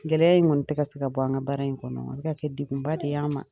Gɛlɛyaya in kɔni tɛ ka se ka bɔ an ka baara in kɔnɔ a bɛ ka kɛ degunba de ye an ma